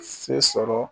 Se sɔrɔ